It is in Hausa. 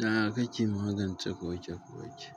Yaya kake magance koke koke.